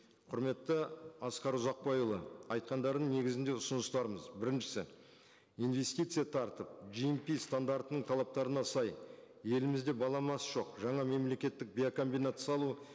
құрметті асқар ұзақбайұлы айтқандардың негізінде ұсыныстарымыз біріншісі инвестиция тартып стандартының талаптарына сай елімізде баламасы жоқ жаңа мемлекеттік биокомбинат салу